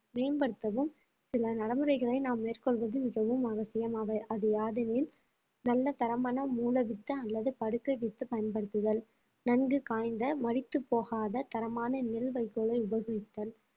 மேம்படுத்தவும் சில நடைமுறைகளை நாம் மேற்கொள்வது மிகவும் அவசியம் அவை அது யாதெனில் நல்ல தரமான மூல வித்து அல்லது படுக்கை வித்து பயன்படுத்துதல் நன்கு காய்ந்த மடித்துப் போகாத தரமான நெல் வைக்கோலை உபயோகித்தல்